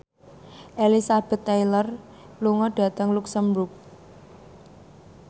Elizabeth Taylor lunga dhateng luxemburg